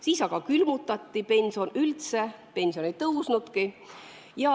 Siis külmutati pensionid üldse, pensionid ei tõusnudki.